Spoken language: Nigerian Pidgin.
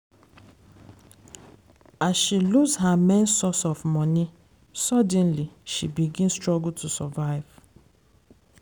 as she lose her main source of money suddenly she begin struggle to survive.